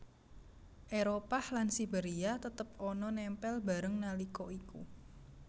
Éropah lan Siberia tetep ana nempel bareng nalika iku